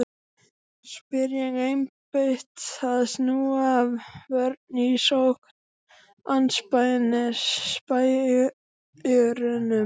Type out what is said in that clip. spyr ég, einbeitt að snúa vörn í sókn andspænis spæjurunum.